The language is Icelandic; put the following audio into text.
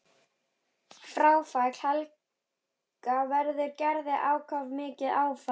Fráfall Helga verður Gerði ákaflega mikið áfall.